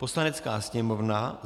Poslanecká sněmovna